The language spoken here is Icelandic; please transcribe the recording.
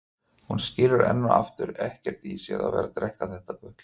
Hún skilur enn og aftur ekkert í sér að vera að drekka þetta gutl.